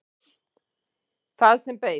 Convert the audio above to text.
Það sem beið.